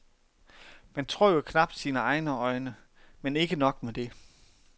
Man tror jo knapt sine egne øjne, men ikke nok med det.